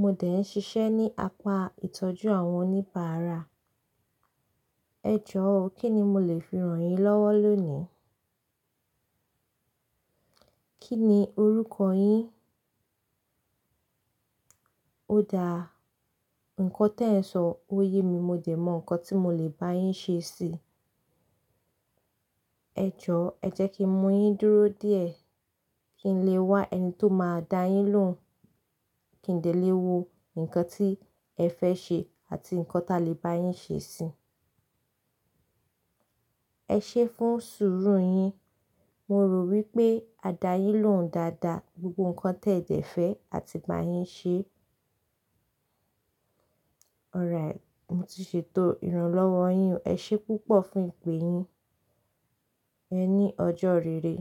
Mo dẹ̀ ń ṣiṣẹ́ ní apá ìtọ́jú àwọn oníbàárà. Ẹ jọ̀ọ́, kí ni mo lè fi ràn yín lọ́wọ́ lónìí? Kí ni orúkọ yín? Ó da. Ǹkan tí ẹ̀ ń sọ ó yé mi. Mo dẹ̀ mọ ǹkan tí mo lè bá yín ṣe sí i. Ẹ jọ̀ọ́, ẹ jẹ́ kí ń mú yín dúró díẹ̀ kí n lè wá ẹni tó máa dá yín lóhùn, kí n lè lé wo ǹkan tí ẹ fẹ́ ṣe àti ǹkan tá lè bá yín ṣe sí i. Ẹ ṣé fún sùúrù yín. Mo rò wípé á dá yín lóhùn dáadáa, gbogbo ǹkan téẹ̀ jẹ fẹ́ àti bá yín ṣe. Ọ̀rẹ́ẹ̀, mo ti ṣètò ìrànlọ́wọ́ yín o. Ẹ ṣé púpọ̀ fún ìpè yín. Ẹ ní ọjọ́ rere.